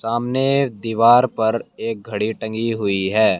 सामने दीवार पर एक घड़ी टंगी हुई है।